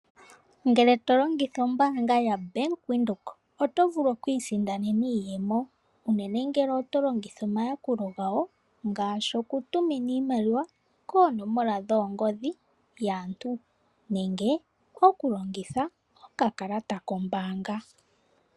Ngele to longitha ombaanga yaBank Windhoek oto vulu okwiisindanena iiyemo unene ngele oto longitha omayakulo gawo ngaashi okutumina iimaliwa koonomola dhoongodhi dhaantu nenge okulongitha okakalata kombaanga.